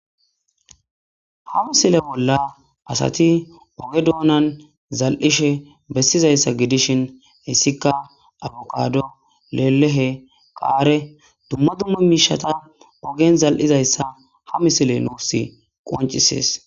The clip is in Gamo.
Ha misile bolla asati oge doonan zal7ishe bessizayssa gidishin hissika aboqaado lelehe qaare dumma dumma miishata ogen zal7izayssa ha misile nuussi qoncisees.